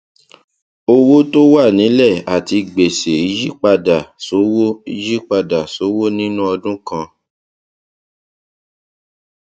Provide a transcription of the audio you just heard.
owó tó wà nílẹ àti gbèsè yípadà sówó yípadà sówó nínú ọdún kan